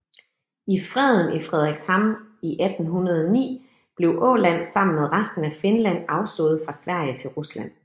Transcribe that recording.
I Freden i Fredrikshamn i 1809 blev Åland sammen med resten af Finland afstået fra Sverige til Rusland